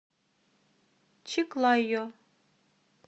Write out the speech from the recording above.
чиклайо